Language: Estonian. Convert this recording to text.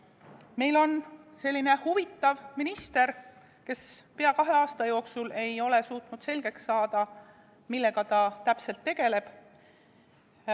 Meil on selline huvitav minister, kes pea kahe aasta jooksul ei ole suutnud selgeks saada, millega ta täpselt tegeleb.